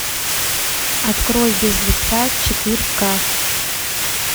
открой без лица четырка